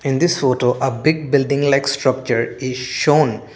in this photo a big building like structure is shown.